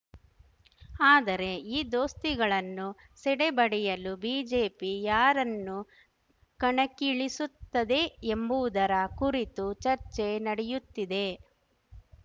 ಆದರೆ ಈ ದೋಸ್ತಿಗಳನ್ನು ಸೆಡೆಬಡೆಯಲು ಬಿಜೆಪಿ ಯಾರನ್ನು ಕಣಕ್ಕಿಳಿಸುತ್ತದೆ ಎಂಬುವುದರ ಕುರಿತು ಚರ್ಚೆ ನಡೆಯುತ್ತಿದೆ